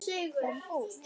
kom út.